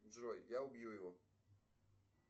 джой я убью его